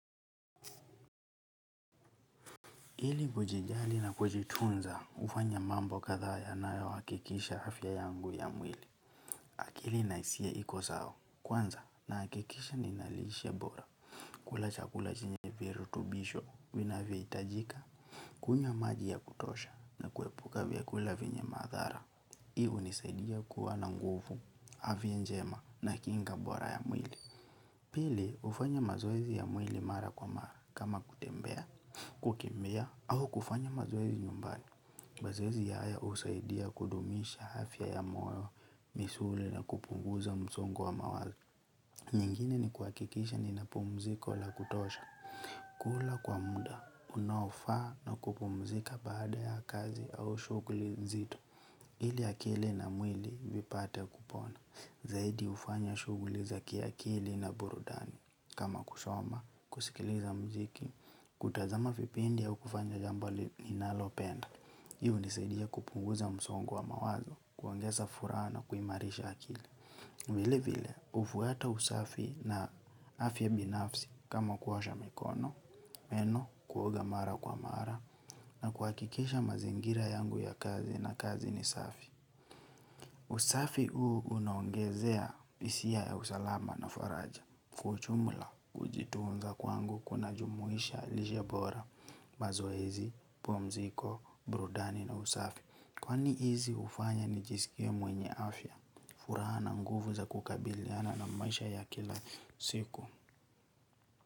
Ili kujijali na kujitunza hufanya mambo kadhaa yanayohakikisha afya yangu ya mwili. Akili na hisia iko sawa. Kwanza nahakikisha nina lishe bora. Kula chakula chenye virutubisho vinavyohitajika. Kunywa maji ya kutosha na kuepuka vyakula vyenye madhara. Hii hunisadia kuwa na nguvu, afya njema na kinga bora ya mwili. Pili hufanya mazoezi ya mwili mara kwa mara. Kama kutembea, kukimbia, au kufanya mazoezi nyumbani mazoezi ya haya husaidia kudumisha afya ya moyo, misuli na kupunguza msongo wa mawazo. Nyingine ni kuhakikisha nina pumziko la kutosha. Kula kwa muda, unaofaa na kupumzika baada ya kazi au shuguli nzito. Ili akili na mwili vipate kupona. Zaidi hufanya shuguli za kiakili na burudani. Kama kusoma, kusikiliza mziki, kutazama vipindi au kufanya jambo ninalopenda. Hii hunisadia kupunguza msongo wa mawazo, kuongeza furaha, na kuimarisha akili. Vile vile, hufuata usafi na afya binafsi kama kuosha mikono meno, kuoga mara kwa mara, na kuhakikisha mazingira yangu ya kazi na kazi ni safi. Usafi huu unaongezea hisia ya usalama na faraja. Kwa ujumla kujitunza kwangu kunajumuisha lisha bora. Mazoezi, Pumziko, Burudani na Usafi Kwani hizi hufanya nijisikie mwenye afya furaha na nguvu za kukabiliana na maisha ya kila siku.